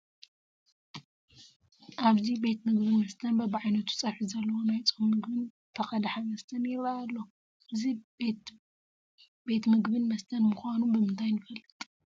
ኣብዚ ቤት ምግብን መስተን በብዓይነቱ ፀብሒ ዘለዎ ናይ ፆም ምግብን ተቐድሐ መስተን ይርአ ኣሎ፡፡ እዚ ቤት ቤት ምግብን መስተን ምዃኑ ብምንታይ ንፈልጥ?